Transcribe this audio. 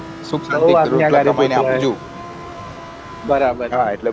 બવું અગ્ન્યા કારી પુત્ર હ બરાબર